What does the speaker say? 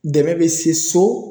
Dɛmɛ bɛ se so